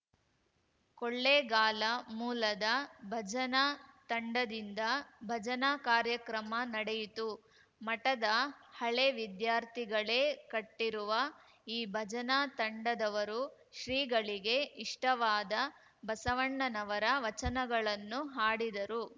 ಕೊಳ್ಳೆಗಾಲ ಮೂಲದ ಭಜನಾ ತಂಡದಿಂದ ಭಜನಾ ಕಾರ್ಯಕ್ರಮ ನಡೆಯಿತು ಮಠದ ಹಳೆ ವಿದ್ಯಾರ್ಥಿಗಳೇ ಕಟ್ಟಿರುವ ಈ ಭಜನಾ ತಂಡದವರು ಶ್ರೀಗಳಿಗೆ ಇಷ್ಟವಾದ ಬಸವಣ್ಣನವರ ವಚನಗಳನ್ನು ಹಾಡಿದರು